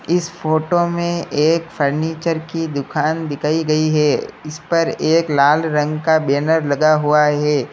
इस फोटो में एक फर्नीचर की दुकान दिखाई गई है इस पर एक लाल रंग का बैनर लगा हुआ है।